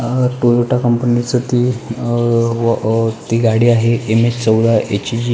अ Toyota company च ती अ व अ ती गाडी आहे एम एच चौदा एच जी --